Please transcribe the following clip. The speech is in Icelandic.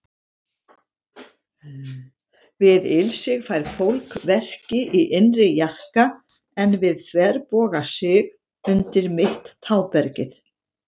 Við ilsig fær fólk verki í innri jarka, en við þverbogasig undir mitt tábergið.